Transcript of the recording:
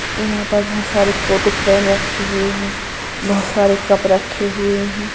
यहाँ पर बहुत सारे फोटो फ्रेम रखे हुए है बहुत सारे कप रखे हुए हैं।